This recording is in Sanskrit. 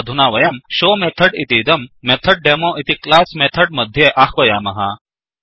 अधुना वयंshowशो मेथड् इतीदंMethodDemoमेथड् डेमो इति क्लास् मेथड् मध्ये आह्वयामः